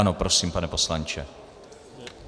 Ano prosím, pane poslanče.